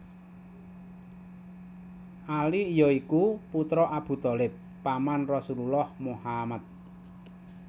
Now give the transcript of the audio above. Ali ya iku putra Abu Thalib paman Rasulullah Muhammad